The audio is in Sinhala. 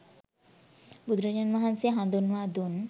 බුදුරජාණන් වහන්සේ හඳුන්වා දුන්